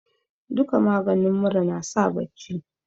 duka maganin mura nasa bacci